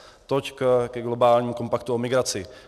Toť ke globálnímu kompaktu o migraci.